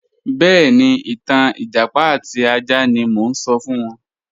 Bẹẹni, ìtàn ẹjápá àti àjà ni mo n sọ̀ fún wọn